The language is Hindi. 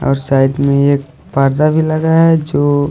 और साइड में एक पर्दा भी लगा है जो--